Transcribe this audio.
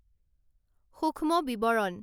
সূক্ষ্ম বিৱৰণ